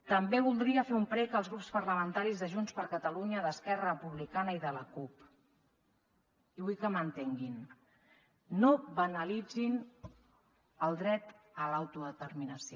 també voldria fer un prec als grups parlamentaris de junts per catalunya d’esquerra republicana i de la cup i vull que m’entenguin no banalitzin el dret a l’autodeterminació